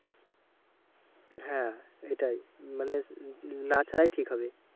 হ্যাঁ এটাই মানে উম না ছাড়াই ঠিক হবে।